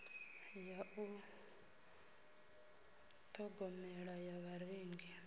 ya u ṱhogomela ya vharengi